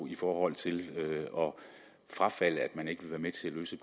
i forhold til at man ikke vil være med til at løse